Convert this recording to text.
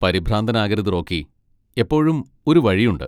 പരിഭ്രാന്തനാകരുത്, Rocky. എപ്പോഴും ഒരു വഴിയുണ്ട്.